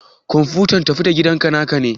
kwamfuta tafi-da-gidanka naka ne?